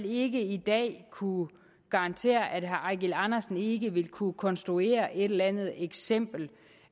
ikke i dag kunne garantere at herre eigil andersen ikke vil kunne konstruere et eller andet eksempel